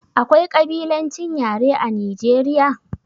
Akwai kabilancin yare a Nijeriya?